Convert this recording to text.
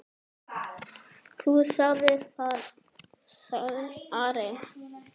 Þú sagðir það, sagði Ari.